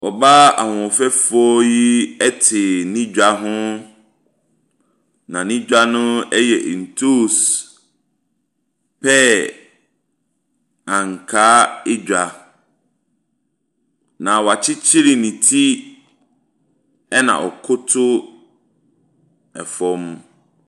Ɔbaa ahoɔfɛfoɔ yi ɛte ne dwa hɔ na ne dwa no ɛyɛ ntos, pear, ankaa edwa. Na wakyekyere ne ti ɛna ɔkoto ɛfam.